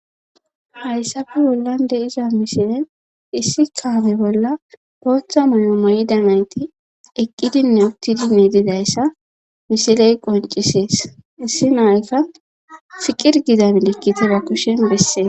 hayssafe wollande iza misilen issi kaami bolla booththa muyo moyida nayti eqqidinne uttidinne didayssa misiley qoncisees issi naykka siqir gidaminekkite ba kushen bessee